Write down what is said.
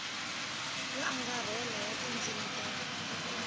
yo angarhela ya tindzimi ta